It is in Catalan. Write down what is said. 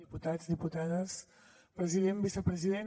diputats diputades president vicepresident